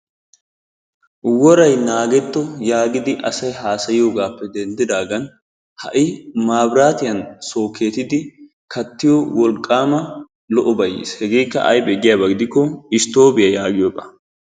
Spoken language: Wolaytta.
Woray naagetto yaagidi asay haasayiyoogappe denddiidagan ha'i mabiraatiyaan sookettidi kattiyoo wolqqaama lo"obay yiis hegeekka aybee giyaaba gidikko isttoobiyaa yaagiyoogaa.